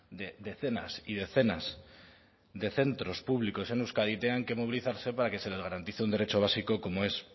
de decenas y decenas de centros públicos en euskadi tengan que movilizarse para que se les garantice un derecho básico como es